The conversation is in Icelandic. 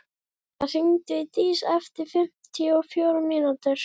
Fjóla, hringdu í Dís eftir fimmtíu og fjórar mínútur.